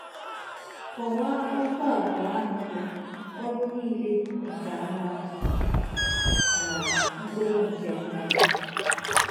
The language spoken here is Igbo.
Kọwaa okwu abụọ ahụ bụ́ “ ọrụ niile nke anụ ahụ ” na “ mkpụrụ nke mmụọ. ”